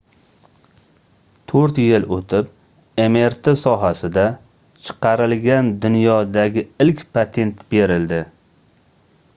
toʻrt yil oʻtib mrt sohasida chiqarilgan dunyodagi ilk patent berildi